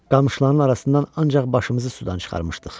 Qamışların arasından ancaq başımızı sudan çıxarmışdıq.